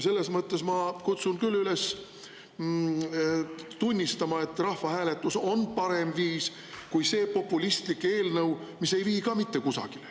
Selles mõttes ma kutsun küll üles tunnistama, et rahvahääletus on parem viis kui see populistlik eelnõu, mis ei vii ka kusagile.